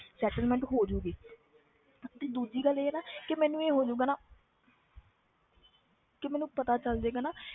Settlement ਹੋ ਜਾਏਗੀ ਤੇ ਦੂਜੀ ਗੱਲ ਇਹ ਨਾ ਕਿ ਮੈਨੂੰ ਇਹ ਹੋ ਜਾਊਗਾ ਨਾ ਕਿ ਮੈਨੂੰ ਪਤਾ ਚੱਲ ਜਾਏਗਾ ਨਾ